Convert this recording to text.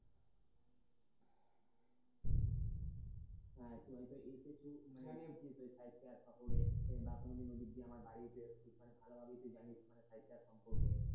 হ্যাঁ তু হয়তো এসেছিস ও এই সাঁইথিয়া শহরে বা কোনদিন ওদিক দিয়ে আমার বাড়িতে এসেছিস মানে ভালোভাবেই তো জানিস মানে সাঁইথিয়া সম্পর্কে।